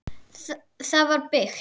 Það var byggt